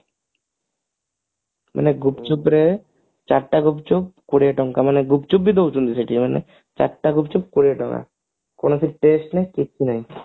ମାନେ ଗୁପ୍ଚୁପରେ ଚାରିଟା ଗୁପ୍ଚୁପ କୋଡିଏ ଟଙ୍କା ମାନେ ଗୁପ୍ଚୁପ ବି ଦଉଛନ୍ତି ସେଠି ମାନେ ଚାରିଟା ଗୁପ୍ଚୁପ କୋଡିଏ ଟଙ୍କା କୌଣସି test ନାଇଁ କିଛି ନାଇଁ